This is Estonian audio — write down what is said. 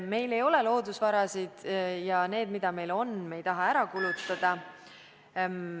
Meil ei ole palju loodusvarasid ja neid, mida meil on, me ei taha ära kulutada.